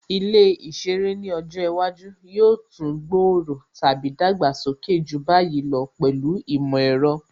Ilé ìṣeré ni ọjọ́ iwájú yóò tún gbòòrò/ dàgbàsókè ju báyìí lọ pẹ̀lú ìmọ̀ ẹ̀rọ